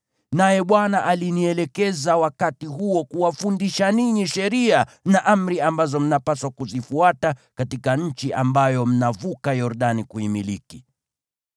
Naye Bwana alinielekeza wakati huo kuwafundisha ninyi sheria na amri ambazo mnapaswa kuzifuata katika nchi ambayo mnavuka Yordani kuimiliki.